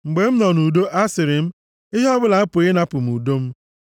Mgbe m nọ nʼudo, asịrị m, “Ihe ọbụla apụghị ịnapụ m udo m.”